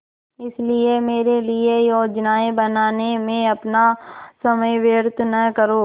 इसलिए मेरे लिए योजनाएँ बनाने में अपना समय व्यर्थ न करो